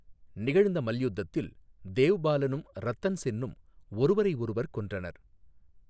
நிகழ்ந்த மல்யுத்தத்தில் தேவ்பாலனும் ரத்தன் சென்னும் ஒருவரையொருவர் கொன்றனர்.